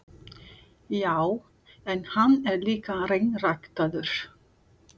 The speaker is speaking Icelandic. Já, en hann er líka hreinræktaður.